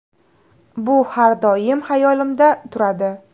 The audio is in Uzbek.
Bu har doim hayolimda turadi.